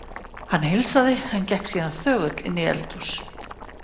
Hann heilsaði, en gekk síðan þögull inn í eldhús.